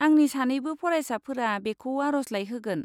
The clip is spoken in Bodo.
आंनि सानैबो फरायसाफोरा बेखौ आरजलाइ होगोन।